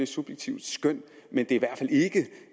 subjektivt skøn men det